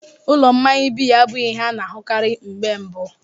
Ụlọ mmanya biya abụghị ihe a na-ahụkarị mgbe mbu.